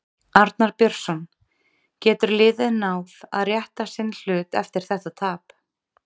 Arnar Björnsson: Getur liðið náð að rétta sinn hlut eftir þetta tap?